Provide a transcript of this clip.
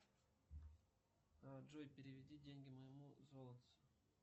джой переведи деньги моему золотцу